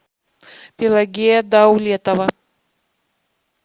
пелагея даулетова